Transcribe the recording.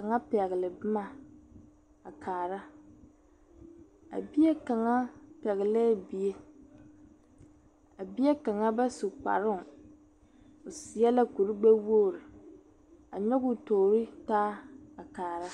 kaŋa pɛgele boma a kaara. A bie kaŋa pɛglɛɛ bie, a bie kaŋa ba su kparoo, o seɛ la kuri gbɛwogiri, a nyɔ o toorii taa a kaara.